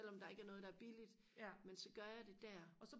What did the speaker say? selvom der ikke er noget der er billigt men så gør jeg det der